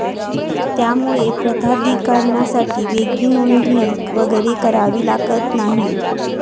त्यामुळे प्रताधीकार्नासाठी वेगळी नोंदणी वगैरे करावी लागत नाही.